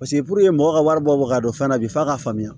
Paseke puruke mɔgɔw ka wari bɔ ka don fɛn na bi f'a ka faamuya